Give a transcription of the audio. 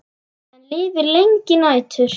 Enn lifir lengi nætur.